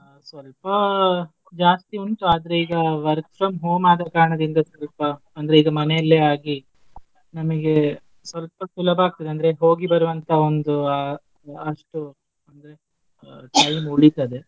ಸ್ವಲ್ಪ ಜಾಸ್ತಿ ಉಂಟ್ ಆದ್ರೆ ಈಗ work from home ಆದ ಕಾರಣದಿಂದ ಸ್ವಲ್ಪ ಅಂದ್ರೆ ಈಗ ಮನೇಲೇ ಆಗಿ ನಮಗೆ ಸ್ವಲ್ಪ ಸುಲಭ ಆಗ್ತದೆ ಅಂದ್ರೆ ಹೋಗಿ ಬರುವ ಅಂತ ಒಂದು ಅ~ ಅಷ್ಟು ಅಂದ್ರೆ time ಉಳಿತದೆ.